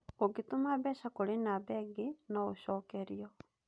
Ũngĩtũma mbeca kũrĩ namba ĩngĩ, no ũcokerio.